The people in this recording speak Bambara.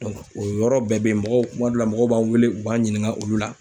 o yɔrɔ bɛɛ bɛ yen mɔgɔw kuma dɔ la mɔgɔw b'an wele, u b'an ɲininka olu la.